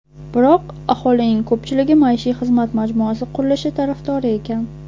Biroq aholining ko‘pchiligi maishiy xizmat majmuasi qurilishi tarafdori ekan.